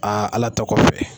Aa ala ta kɔfɛ.